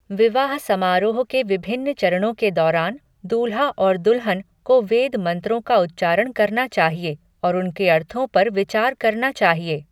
विवाह समारोह के विभिन्न चरणों के दौरान दूल्हा और दुल्हन को वेद मंत्रों का उच्चारण करना चाहिए और उनके अर्थों पर विचार करना चाहिए।